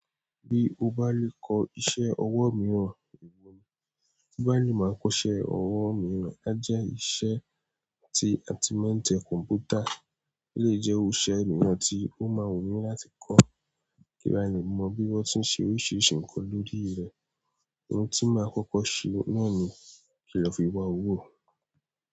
Bí o bá lè kọ iṣẹ́ ọwọ́ mìíràn, ewo ni. Bí bá lè máa kọ́ iṣẹ́ ọwọ́ mìíràn, a jẹ́ iṣẹ́ tí a ti máa ń tẹ kọ̀ǹpútà lè jẹ́ irú iṣẹ́ mìíràn tí ó máa wù mí láti kọ́. Kí n lè mọ bí wọ́n ti ń ṣe oríṣiríṣi nǹkan lórí rẹ̀, ohun tí máa kọ́kọ́ ṣe náà ni kí ẹ lọ fi wá owó.